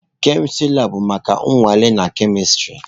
Kemistri labụ bụ maka nnwale na kemistri.